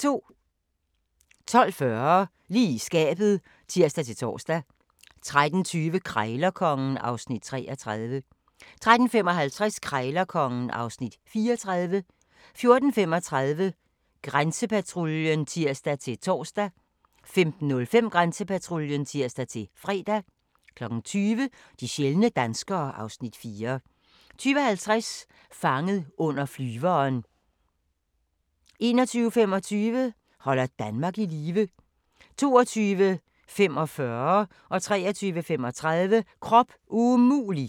12:40: Lige i skabet (tir-tor) 13:20: Krejlerkongen (Afs. 33) 13:55: Krejlerkongen (Afs. 34) 14:35: Grænsepatruljen (tir-tor) 15:05: Grænsepatruljen (tir-fre) 20:00: De sjældne danskere (Afs. 4) 20:50: Fanget under flyveren 21:25: Holder Danmark i live 22:45: Krop umulig! 23:35: Krop umulig!